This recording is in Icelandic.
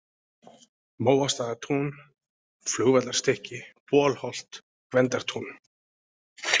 Móastaðatún, Flugvallarstykki, Bolholt, Gvendartún